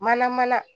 Mana mana